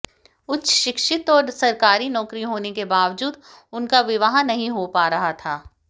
उच्च शिक्षित और सरकारी नौकरी होने के बावजूद उनका विवाह नहीं हो पा रहा था